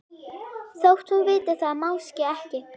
Þótt hún viti það máske ekki.